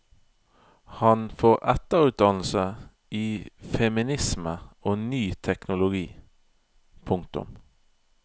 Han får etterutdannelse i feminisme og ny teknologi. punktum